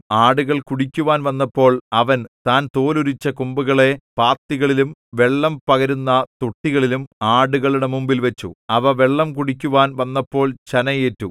ആടുകൾ കുടിക്കുവാൻ വന്നപ്പോൾ അവൻ താൻ തോലുരിച്ച കൊമ്പുകളെ പാത്തികളിലും വെള്ളം പകരുന്ന തൊട്ടികളിലും ആടുകളുടെ മുമ്പിൽവച്ചു അവ വെള്ളം കുടിക്കുവാൻ വന്നപ്പോൾ ചനയേറ്റു